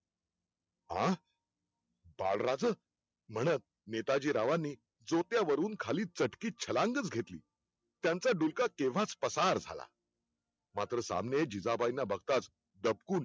आह बाळराज, म्हणत नेताजीरावानी सोप्या वरुन खालीं चटकी छलांगच घेतली. त्यांचा डुलका केंव्हाच पसार झाला. मात्र सामने जिजाबाईंना बगताच दबकून